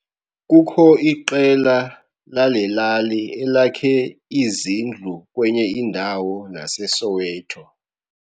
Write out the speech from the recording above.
Kukho iqela lale lali elakhe izindlu kwenye indawo naseSoweto.